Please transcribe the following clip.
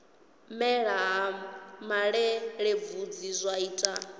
mela ha malelebvudzi zwa ita